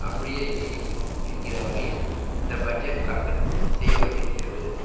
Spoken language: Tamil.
அப்படியே நீடிக்கும் என்கிற வகையில் இந்த பட்ஜெட் தாக்கல் செய்ய பட்டிருக்கிறது